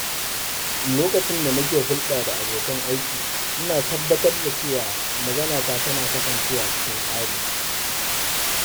Lokacin da nake hulɗa da abokan aiki, ina tabbatar da cewa maganata tana kasancewa cikin tsari.